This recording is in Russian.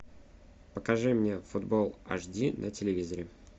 покажи мне футбол аш ди на телевизоре